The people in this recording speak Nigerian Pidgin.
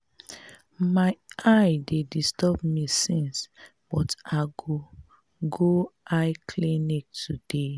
my eye dey disturb me since but i go go eye clinic today